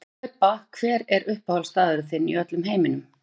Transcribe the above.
Hlaupa Hver er uppáhaldsstaðurinn þinn í öllum heiminum?